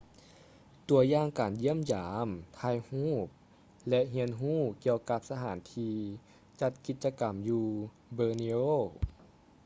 ຕົວຢ່າງການຢ້ຽມຢາມ ຖ່າຍຮູບ ແລະ ຮຽນຮູ້ກ່ຽວກັບສະຖານທີ່ຈັດກິດຈະກຳຢູ່ borneo